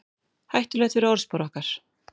Hættulegt fyrir orðspor okkar